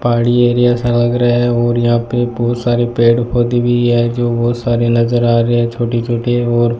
पहाड़ी एरिया सा लग रहा है और यहां पे बहोत सारे पेड़ पौधे भी है जो बहोत सारे नजर आ रहे हैं छोटी छोटी है और --